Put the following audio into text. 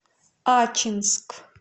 ачинск